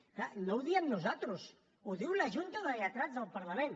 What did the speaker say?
és clar no ho diem nosaltres ho diu la junta de lletrats del parlament